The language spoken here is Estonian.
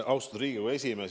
Austatud Riigikogu esimees!